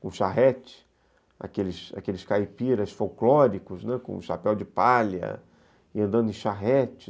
com charrete, aqueles aqueles caipiras folclóricos, com chapéu de palha, e andando em charrete.